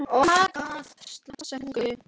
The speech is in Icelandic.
Þá getum við aldrei sigrað þá.